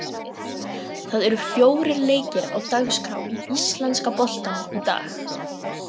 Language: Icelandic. Það eru fjórir leikir á dagskrá í íslenska boltanum í dag.